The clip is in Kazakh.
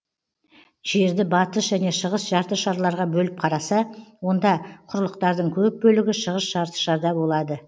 жерді батыс және шығыс жарты шарларға бөліп қараса онда құрлықтардың көп бөлігі шығыс жарты шарда болады